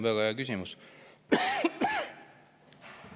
Väga hea küsimus.